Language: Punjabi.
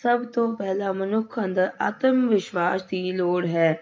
ਸਭ ਤੋਂ ਪਹਿਲਾਂ ਮਨੁੱਖ ਅੰਦਰ ਆਾਤਮ ਵਿਸ਼ਵਾਸ ਦੀ ਲੋੜ ਹੈ।